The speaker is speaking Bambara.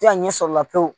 A ɲɛ sɔrɔ o la pewu